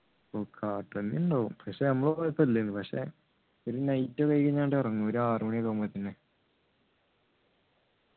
ഉണ്ടാകും പക്ഷെ നമ്മള് പോയപ്പോ ഇല്ലെനു പക്ഷെ ഒരു ആവുമ്പൊ ഇറങ്ങും ഒരു ആറുമണി ഒക്കെ ആവുമ്പൊ